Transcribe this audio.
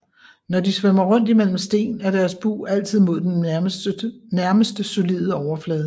Når de svømmer rundt i mellem sten er deres bug altid mod den nærmeste solide overflade